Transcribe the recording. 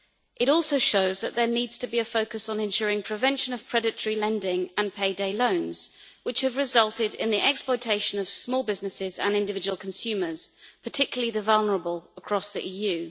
It also shows that there needs to be a focus on ensuring prevention of predatory lending and payday loans, which have resulted in the exploitation of small businesses and individual consumers, particularly the vulnerable, across the EU.